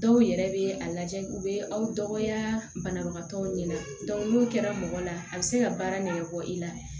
Dɔw yɛrɛ bɛ a lajɛ u bɛ aw dɔgɔya banabagatɔw ɲɛna n'o kɛra mɔgɔ la a bɛ se ka baara nɛgɛn bɔ i la